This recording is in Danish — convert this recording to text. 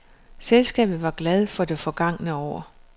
Selskabet var glad for det forgangne år.